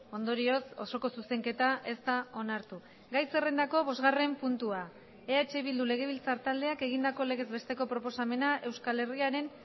ondorioz osoko zuzenketa ez da onartu gai zerrendako bosgarren puntua eh bildu legebiltzar taldeak egindako legez besteko proposamena euskal herriaren